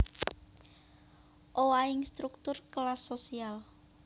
Owahing struktur kelas sosial